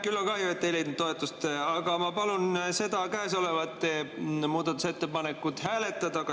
Küll on kahju, et ei leidnud toetust, aga ma palun seda käesolevat muudatusettepanekut hääletada.